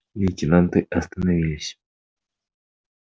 лейтенанты остановились